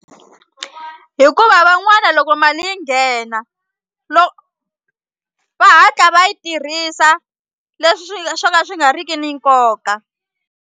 Hikuva van'wana loko mali yi nghena lo va hatla va yi tirhisa leswi swo ka swi nga riki ni nkoka.